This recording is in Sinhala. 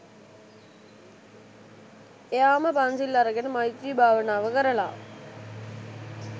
එයාම පන්සිල් අරගෙන මෛත්‍රී භාවනාව කරල